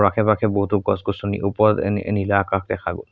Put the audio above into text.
আশে-পাশে বহুতো গছ-গছনি ওপৰত এন নী-নীলা আকাশ দেখা গ'ল।